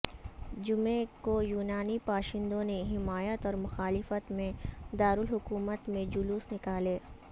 جمعے کو یونانی باشندوں نے حمایت اور مخالفت میں دارالحکومت میں جلوس نکالے